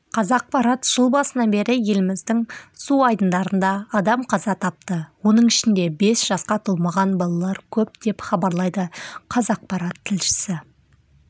қазақпарат жыл басынан бері еліміздің су айдындарында адам қаза тапты оның ішінде бес жасқа толмаған балалар көп деп хабарлайды қазақпарат тілшісі